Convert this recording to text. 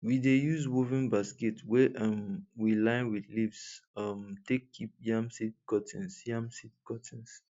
we dey use woven basket wey um we line with leaves um take keep yam seed cuttings yam seed cuttings